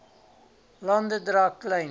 lande dra klein